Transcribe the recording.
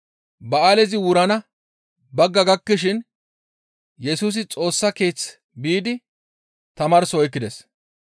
Ba7aalezi wurana bagga gakkishin Yesusi Xoossa Keeththe biidi tamaarso oykkides.